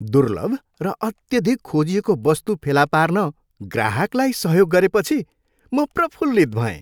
दुर्लभ र अत्यधिक खोजिएको वस्तु फेला पार्न ग्राहकलाई सहयोग गरेपछि, म प्रफुल्लित भएँ।